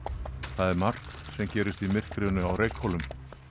það er margt sem gerist í myrkrinu á Reykhólum